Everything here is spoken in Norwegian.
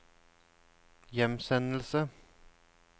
hjemsendelse